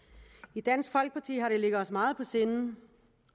i dansk folkeparti har det ligget os meget på sinde